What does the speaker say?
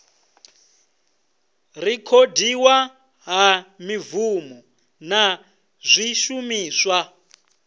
rekhodiwa ha mibvumo na zwishumiswa